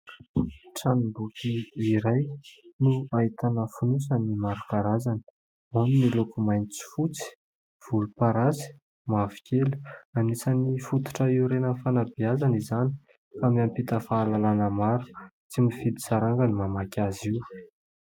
Tranomboky iray no ahitana fonosany maro karazany ao ny miloko mainty sy fotsy, volomparasy, mavokely. Anisan'ny fototra iorenan'ny fanabeazana izany ka miampita fahalalàna tsy mifidy saranga ny mamaky azy io.